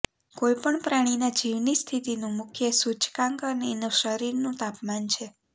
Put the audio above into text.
કોઈ પણ પ્રાણીના જીવની સ્થિતિનું મુખ્ય સૂચકાંકન એનું શરીરનું તાપમાન છે